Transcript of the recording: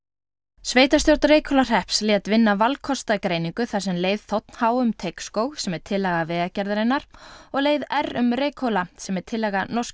sveitarstjórn Reykhólahrepps lét vinna valkostagreiningu þar sem leið þ h um Teigsskóg sem er tillaga Vegagerðarinnar og leið r um Reykhóla sem er tillaga norsku